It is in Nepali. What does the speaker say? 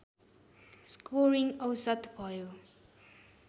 स्कोरिङ औसत भयो